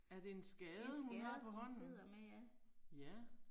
Er det en skade hun har på hånden? Ja